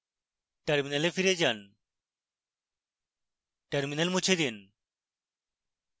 terminal ফিরে যান terminal মুছে দিন